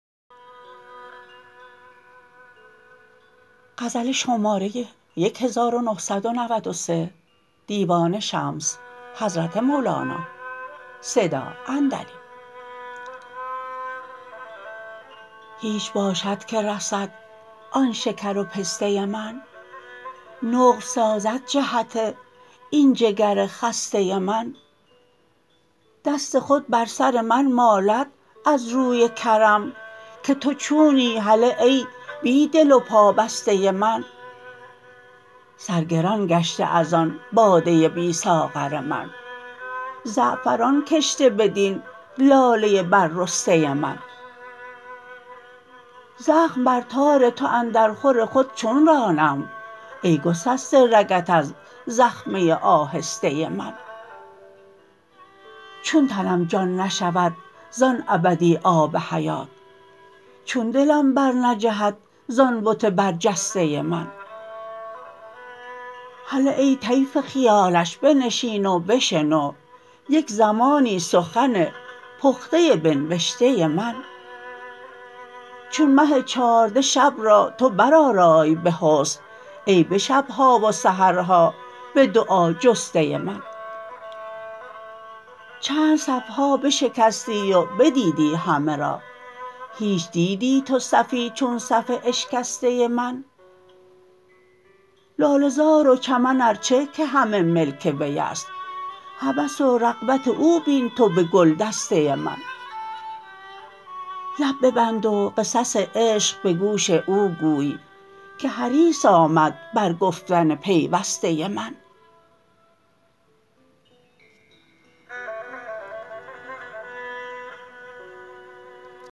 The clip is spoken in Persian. هیچ باشد که رسد آن شکر و پسته من نقل سازد جهت این جگر خسته من دست خود بر سر من مالد از روی کرم که تو چونی هله ای بی دل و پابسته من سر گران گشته از آن باده بی ساغر من زعفران کشته بدین لاله بررسته من زخم بر تار تو اندرخور خود چون رانم ای گسسته رگت از زخمه آهسته من چون تنم جان نشود زان ابدی آب حیات چون دلم برنجهد زان بت برجسته من هله ای طیف خیالش بنشین و بشنو یک زمانی سخن پخته به نبشته من چون مه چارده شب را تو برآرای به حسن ای به شب ها و سحرها به دعا جسته من چند صف ها بشکستی و بدیدی همه را هیچ دیدی تو صفی چون صف اشکسته من لاله زار و چمن ار چه که همه ملک وی است هوس و رغبت او بین تو به گلدسته من لب ببند و قصص عشق به گوش او گوی که حریص آمد بر گفتن پیوسته من